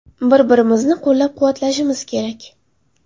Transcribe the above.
Bir-birimizni qo‘llab-quvvatlashimiz kerak.